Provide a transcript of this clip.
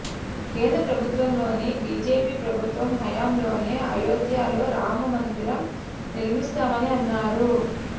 కేంద్ర ప్రభుత్వంలోని బీజేపీ ప్రభుత్వం హయాంలోనే అయోధ్యలో రామ మందిరం నిర్మిస్తామని అన్నారు